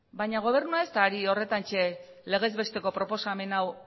baina gobernua ez da ari horretantxe legez besteko proposamen hau